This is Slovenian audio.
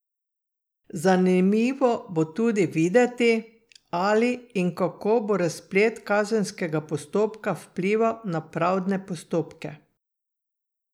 Zanimivo bo tudi videti, ali in kako bo razplet kazenskega postopka vplival na pravdne postopke.